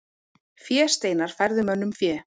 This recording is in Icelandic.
Fésteinar færðu mönnum fé.